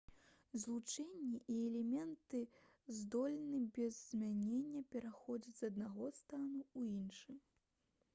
злучэнні і элементы здольны без змянення пераходзіць з аднаго стану ў іншы